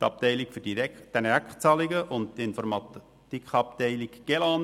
Die Abteilung für Direktzahlungen und die Informatikabteilung Gesamtlösung EDV